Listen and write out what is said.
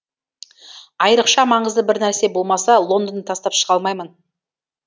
айрықша маңызды бір нәрсе болмаса лондонды тастап шыға алмаймын